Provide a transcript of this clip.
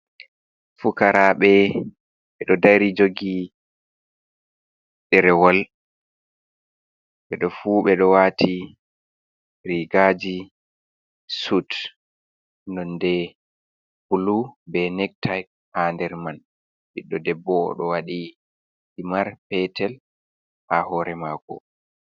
Fukaraɓe ɓeɗo dari jogi ɗerewol. Ɓeɗo fu ɓeɗo waati rigaji sud nonde bulu be nek tayit ha nder man. Ɓiɗɗo debbo oɗo waɗi himar petel ha hore mako.